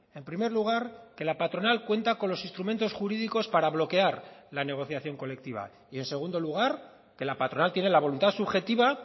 en primer lugar que la patronal cuenta con los instrumentos jurídicos para bloquear la negociación colectiva y en segundo lugar que la patronal tiene la voluntad subjetiva